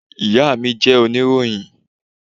Ìyá mi jẹ́ oníròyìn.